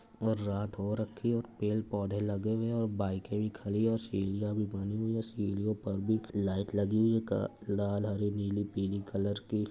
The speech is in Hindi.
और रात हो रखी है और पेड़ पौधे भी लगे हुए हैं और बाईकें भी खड़ी है और सीढ़ियाँ बनी है पेड़ सीढ़ियाँ पर भी लाइट लगी हुई है लाल हरी नीली पीली कलर की --